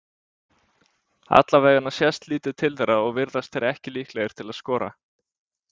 Allavegana sést lítið til þeirra og virðast þeir ekki líklegir til þess að skora.